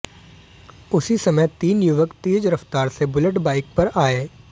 उसी समय तीन युवक तेज रफ्तार से बुलेट बाइक पर आए